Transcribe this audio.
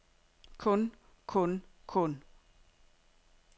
kun kun kun